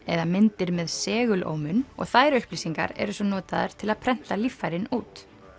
eða myndir með segulómun og þær upplýsingar eru svo notaðar til að prenta líffærin út